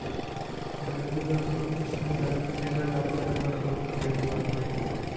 ബാങ്കുകള്‍ക്കും ഈ സംവിധാനം ഏറെ ലാഭകരമാണെന്നും അദ്ദേഹം പറഞ്ഞു